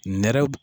Nɛrɛ